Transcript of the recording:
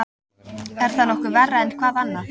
Er það nokkuð verra en hvað annað?